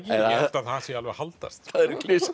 sé alveg að haldast það